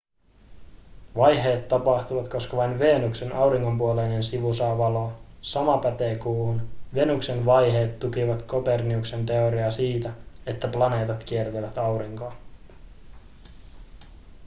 vaiheet tapahtuvat koska vain venuksen auringonpuoleinen sivu saa valoa sama pätee kuuhun. venuksen vaiheet tukivat kopernikuksen teoriaa siitä että planeetat kiertävät aurinkoa